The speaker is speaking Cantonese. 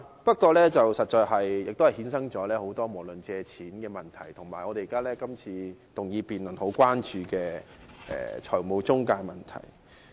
不過，這確實衍生了很多有關借錢的問題，以及今天這項議案辯論很關注的財務中介問題。